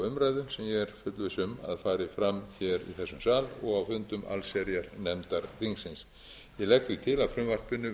er fullviss um að fari fram í þessum sal og á fundum allsherjarnefndar þingsins ég legg því til að frumvarpinu